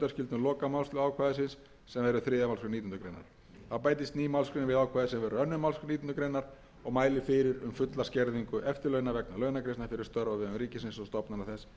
lokamálslið ákvæðisins sem verður þriðja málsgrein nítjánda grein þá bætist ný málsgrein við ákvæðið sem verður önnur málsgrein nítjánda grein og mælir fyrir um fulla skerðingu eftirlauna vegna launagreiðslna fyrir störf á vegum ríkisins stofnana þess eða félaga